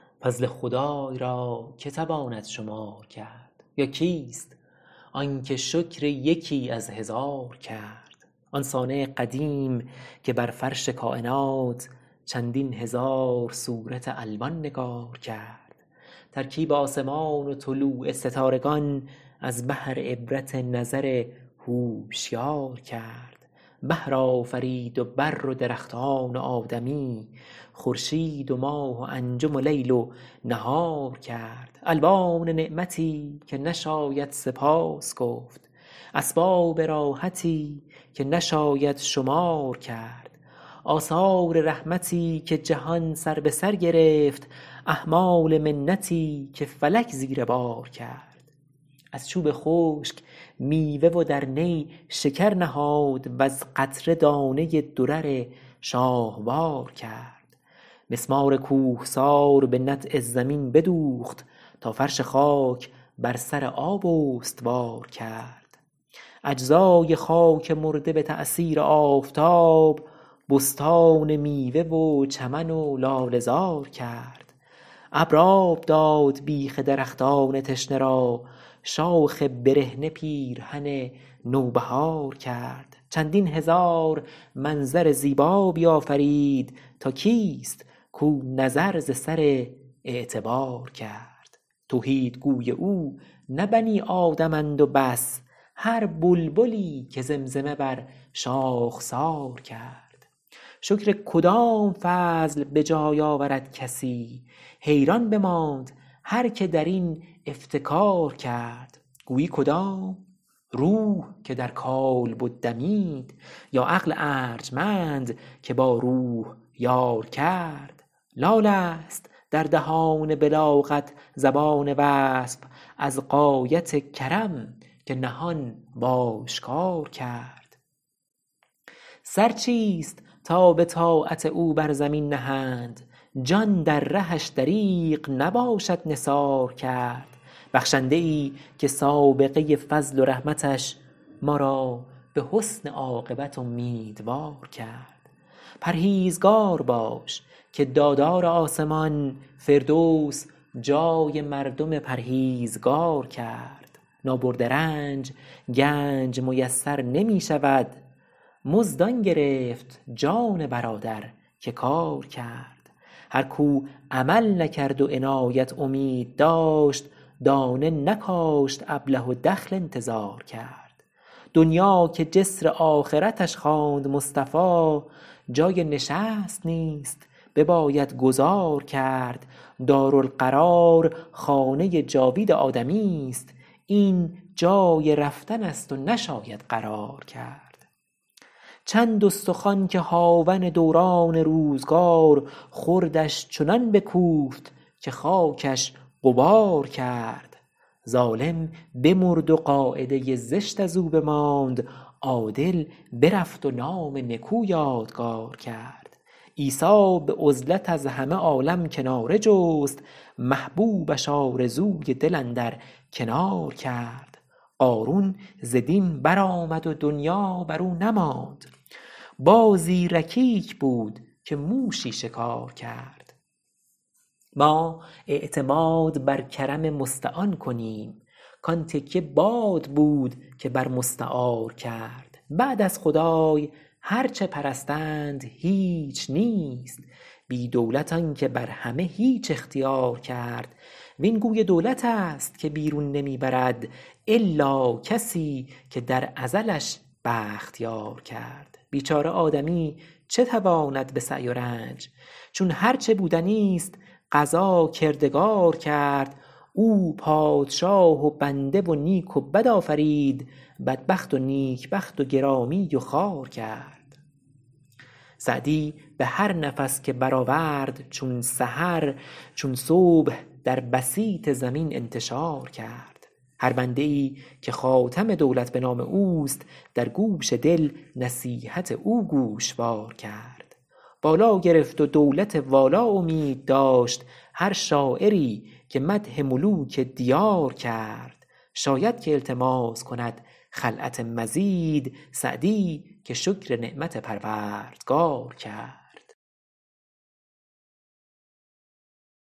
فضل خدای را که تواند شمار کرد یا کیست آنکه شکر یکی از هزار کرد آن صانع قدیم که بر فرش کاینات چندین هزار صورت الوان نگار کرد ترکیب آسمان و طلوع ستارگان از بهر عبرت نظر هوشیار کرد بحر آفرید و بر و درختان و آدمی خورشید و ماه و انجم و لیل و نهار کرد الوان نعمتی که نشاید سپاس گفت اسباب راحتی که نشاید شمار کرد آثار رحمتی که جهان سر به سر گرفت احمال منتی که فلک زیر بار کرد از چوب خشک میوه و در نی شکر نهاد وز قطره دانه ای درر شاهوار کرد مسمار کوهسار به نطع زمین بدوخت تا فرش خاک بر سر آب استوار کرد اجزای خاک مرده به تأثیر آفتاب بستان میوه و چمن و لاله زار کرد این آب داد بیخ درختان تشنه را شاخ برهنه پیرهن نوبهار کرد چندین هزار منظر زیبا بیافرید تا کیست کو نظر ز سر اعتبار کرد توحیدگوی او نه بنی آدمند و بس هر بلبلی که زمزمه بر شاخسار کرد شکر کدام فضل به جای آورد کسی حیران بماند هر که درین افتکار کرد گویی کدام روح که در کالبد دمید یا عقل ارجمند که با روح یار کرد لالست در دهان بلاغت زبان وصف از غایت کرم که نهان و آشکار کرد سر چیست تا به طاعت او بر زمین نهند جان در رهش دریغ نباشد نثار کرد بخشنده ای که سابقه فضل و رحمتش ما را به حسن عاقبت امیدوار کرد پرهیزگار باش که دادار آسمان فردوس جای مردم پرهیزگار کرد نابرده رنج گنج میسر نمی شود مزد آن گرفت جان برادر که کار کرد هر کو عمل نکرد و عنایت امید داشت دانه نکاشت ابله و دخل انتظار کرد دنیا که جسر آخرتش خواند مصطفی جای نشست نیست بباید گذار کرد دارالقرار خانه جاوید آدمیست این جای رفتنست و نشاید قرار کرد چند استخوان که هاون دوران روزگار خردش چنان بکوفت که خاکش غبار کرد ظالم بمرد و قاعده زشت از او بماند عادل برفت و نام نکو یادگار کرد عیسی به عزلت از همه عالم کناره جست محبوبش آرزوی دل اندر کنار کرد قارون ز دین برآمد و دنیا برو نماند بازی رکیک بود که موشی شکار کرد ما اعتماد بر کرم مستعان کنیم کان تکیه باد بود که بر مستعار کرد بعد از خدای هرچه پرستند هیچ نیست بی دولت آنکه بر همه هیچ اختیار کرد وین گوی دولتست که بیرون نمی برد الا کسی که در ازلش بخت یار کرد بیچاره آدمی چه تواند به سعی و رنج چون هرچه بودنیست قضا کردگار کرد او پادشاه و بنده و نیک و بد آفرید بدبخت و نیک بخت و گرامی و خوار کرد سعدی به هر نفس که برآورد چون سحر چون صبح در بسیط زمین انتشار کرد هر بنده ای که خاتم دولت به نام اوست در گوش دل نصیحت او گوشوار کرد بالا گرفت و دولت والا امید داشت هر شاعری که مدح ملوک دیار کرد شاید که التماس کند خلعت مزید سعدی که شکر نعمت پروردگار کرد